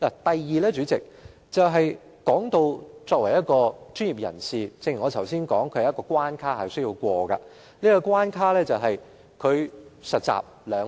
第二，代理主席，正如我剛才所說，作為一名專業人士，大律師必須通過一道關卡，就是實習兩年。